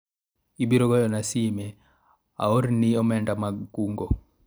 ibiro goyona sime aorni omenda mag kungo